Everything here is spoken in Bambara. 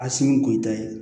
A sini kun ye i ta ye